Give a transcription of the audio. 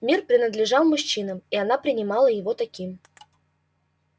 мир принадлежал мужчинам и она принимала его таким